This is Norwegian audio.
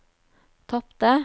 tapte